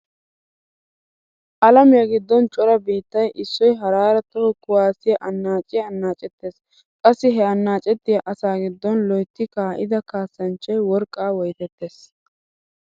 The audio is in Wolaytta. Alamiya giddon cora biittay issoy haraara toho kuwaassiya annaaciya annaacettees. Qassi he annaacettiya asaa giddon loytti kaa'ida kaassanchchay worqqaa woytettees.